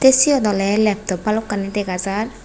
siut oleh laptop balokkani degajar.